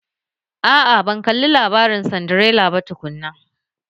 A'a, ban kalli labarin Sindirela ba tukunna